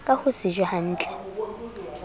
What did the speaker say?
ka ho se je hnatle